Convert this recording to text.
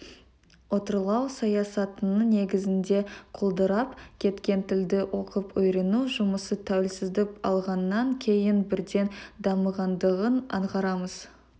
отарлау саясатының негізінде құлдырап кеткен тілді оқып-үйрену жұмысы тәуелсіздік алғаннан кейін бірден дамығандығын аңғарамыз